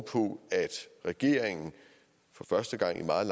på at regeringen for første gang i meget